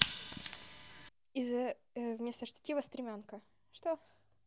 из вместо штатива стремянка что